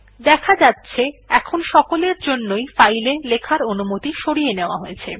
দেখা যাচ্ছে এখন সকলের জন্যই ফাইল এ লেখার অনুমতি সরিয়ে নেওয়া হয়েছে